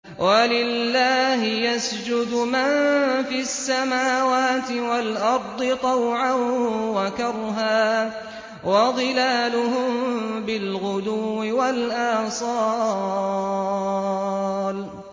وَلِلَّهِ يَسْجُدُ مَن فِي السَّمَاوَاتِ وَالْأَرْضِ طَوْعًا وَكَرْهًا وَظِلَالُهُم بِالْغُدُوِّ وَالْآصَالِ ۩